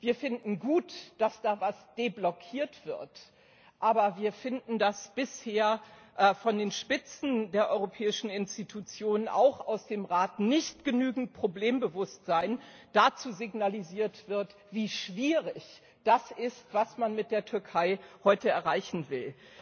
Wir finden gut, dass da etwas deblockiert wird, aber wir finden, dass bisher von den Spitzen der europäischen Institutionen und auch aus dem Rat nicht genügend Problembewusstsein dazu signalisiert wird, wie schwierig das ist, was man mit der Türkei heute erreichen will.